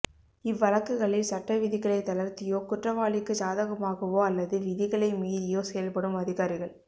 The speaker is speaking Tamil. இவ்வழக்குகளில் சட்ட விதிகளைத் தளர்த்தியோ குற்றவாளிக்குச் சாதகமாகவோ அல்லது விதிகளை மீறியோ செயல்படும் அதிகாரிகள்